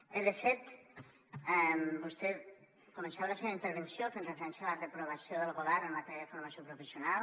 bé de fet vostè començava la seva intervenció fent referència a la reprovació del govern en matèria de formació professional